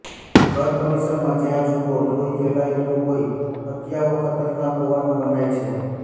ઘર પરિસરમાં જ્યાં જુઓ લોહી ફેલાયેલું હોઇ હત્યારાઓ ખતરનાક હોવાનું મનાય છે